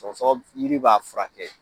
Sɔgɔsɔgɔ b yiri b'a furakɛ